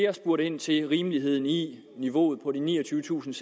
har spurgt ind til rimeligheden i niveauet på de niogtyvetusinde